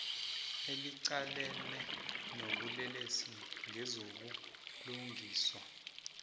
eliqalene nobulelesi kezobulungiswa